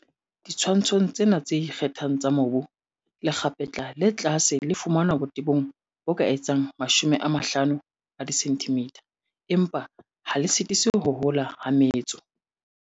Ditshwantshong tsena tse ikgethileng tsa mobu, lekgapetla le tlase le fumanwa botebong bo ka etsang 50 cm, empa ha le sitise ho hola ha metso.